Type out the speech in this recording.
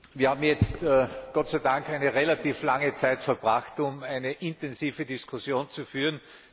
Wir haben jetzt Gott sei Dank eine relativ lange Zeit damit verbracht, eine intensive Diskussion zu führen.